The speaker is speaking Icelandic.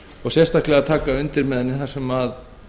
og sérstaklega taka undir með henni þar sem